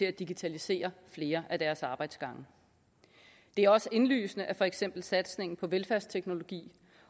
har digitaliseret flere af deres arbejdsgange det er også indlysende at for eksempel satsningen på velfærdsteknologi